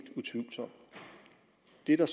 er der